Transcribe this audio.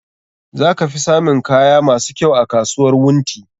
Za ka fi samun kaya masu kyau a kasuwar Wunti.